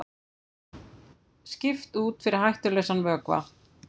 Skipt út fyrir hættulausan vökva